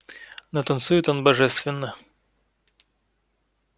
но танцует он божественно